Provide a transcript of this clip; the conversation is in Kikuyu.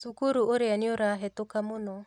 Cukuru ũrĩa nĩũrahĩtũka mũno